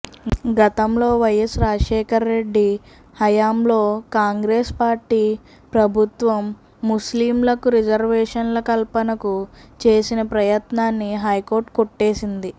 గతంలో వైఎస్ రాజశేఖర రెడ్డి హయాంలో కాంగ్రెస్ పార్టీ ప్రభుత్వం ముస్లింలకు రిజర్వేషన్ల కల్పనకు చేసిన ప్రయత్నాన్ని హైకోర్టు కొట్టేసింది